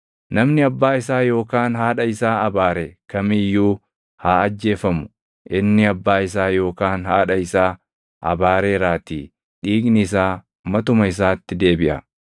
“ ‘Namni abbaa isaa yookaan haadha isaa abaare kam iyyuu haa ajjeefamu. Inni abbaa isaa yookaan haadha isaa abaareeraatii dhiigni isaa matuma isaatti deebiʼa.